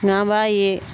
Nga an b'a ye